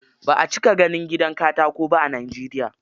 Ba a cika ganin gidan katako ba a Najeriya.